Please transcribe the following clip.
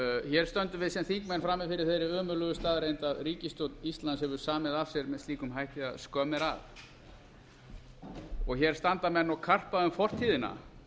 hér stöndum við sem þingmenn frammi fyrir þeirri ömurlegu staðreynd að ríkisstjórn íslands hefur samið af sér með slíkum hætti að skömm er að og hér standa menn og karpa um fortíðina